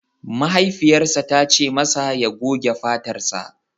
Mahaifiyarsa ta ce masa ya goge fatarsa!